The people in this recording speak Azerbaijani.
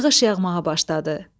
Yağış yağmağa başladı.